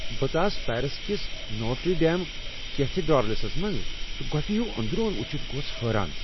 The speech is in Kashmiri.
بہٕ ژاس پیرس کس نوٹری ڈیم کیتھیڈرلس منٛز، تہٕ گۄپِھہ ہِیو اندرون ؤچھتھ گوس بہٕ حیران ۔